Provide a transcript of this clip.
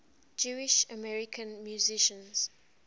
jewish american musicians